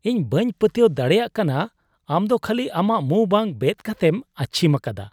ᱤᱧ ᱵᱟᱹᱧ ᱯᱟᱹᱛᱭᱟᱹᱣ ᱫᱟᱲᱮᱭᱟᱜ ᱠᱟᱱᱟ ᱟᱢᱫᱚ ᱠᱷᱟᱹᱞᱤ ᱟᱢᱟᱜ ᱢᱩᱸ ᱵᱟᱝ ᱵᱮᱫ ᱠᱟᱛᱮᱢ ᱟᱹᱪᱷᱤᱢ ᱟᱠᱟᱫᱟ ᱾